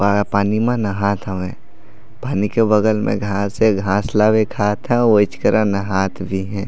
Via पानी में नाहत हवय पानी के बगल में घास हे घास ला वे खात हे ओईच करा नहात भी हे।